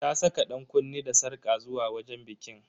Ta saka dankunne da sarƙa zuwa wajen bikin.